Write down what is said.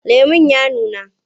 Lemon ya nuna?